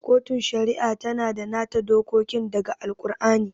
Kotun Shari'a tana da nata dokokin da ga Al-kur'ani